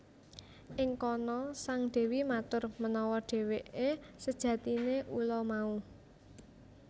Ing kana sang dewi matur menawa dheweke sejatine ula mau